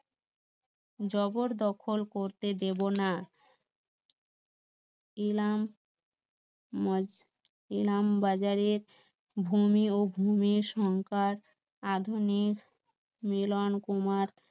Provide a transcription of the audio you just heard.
জবর দখল করতে দেব না এলাম এলাম বাজারের ভূমি ও ভূমির সংকট আধুনিক মিলন কুমার